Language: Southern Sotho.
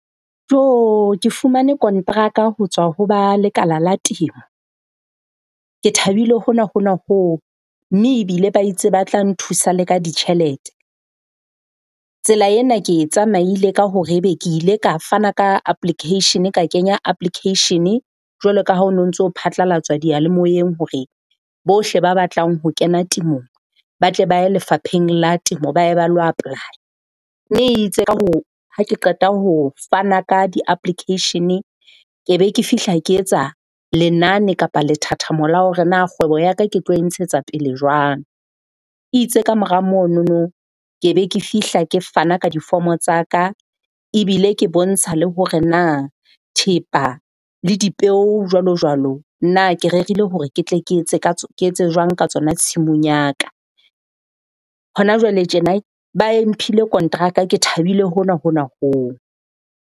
Ke fumane konteraka ho tswa ho ba lekala la temo. Ke thabile hona hona hoo mme ebile ba itse ba tla nthusa le ka ditjhelete. Tsela ena ke e tsamaile ka hore ebe ke ile ka fana ka application-e, ka kenya application-e jwalo ka ha ho no ntso phatlalatswa diyalemoyeng hore bohle ba batlang ho kena temong ba tle ba ye lefapheng la temo ba ye ba lo apply-a. Mme e itse ha ke qeta ho fana ka di-application-e, ke be ke fihla ke etsa lenane kapa lethathamo la hore na kgwebo ya ka ke tlo e ntshetsa pele jwang. E itse kamora monono ke be ke fihla ke fana ka difomo tsa ka ebile ke bontsha le hore na thepa le dipeo jwalo jwalo, na ke rerile hore ke tle ke etse jwang ka tsona tshimong ya ka. Hona jwale tjena ba e mphile konteraka ke thabile hona hona hoo.